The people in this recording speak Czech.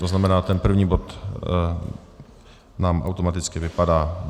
To znamená, ten první bod nám automaticky vypadá.